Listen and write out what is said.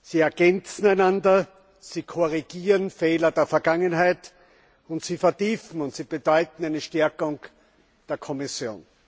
Sie ergänzen einander, sie korrigieren Fehler der Vergangenheit, und sie vertiefen und bedeuten eine Stärkung der Kommission.